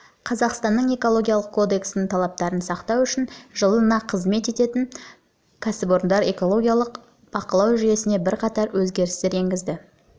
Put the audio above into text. қазақстанның экологиялық кодексінің талаптарын сақтау үшін жылы қызмет барысына кіргізілген кәсіпорындарды экологиялық жағынан бақылау жүйесіне бірқатар өзгерістер енгізу